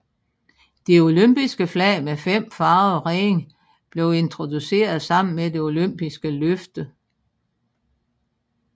Det olympiske flag med fem farvede ringe blev introduceret sammen med det olympiske løfte